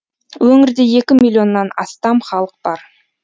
өңірде екі миллионнан астам халық бар